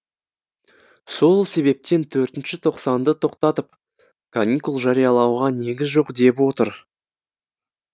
сол себептен төртінші тоқсанды тоқтатып каникул жариялауға негіз жоқ деп отыр